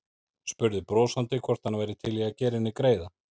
Spurði brosandi hvort hann væri til í að gera henni greiða.